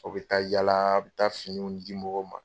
Aw bɛ taa yala a' bɛ taa finiw di mɔgɔw ma.